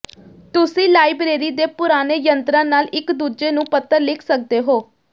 ਤੁਸੀਂ ਲਾਇਬਰੇਰੀ ਦੇ ਪੁਰਾਣੇ ਯੰਤਰਾਂ ਨਾਲ ਇੱਕ ਦੂਜੇ ਨੂੰ ਪੱਤਰ ਲਿਖ ਸਕਦੇ ਹੋ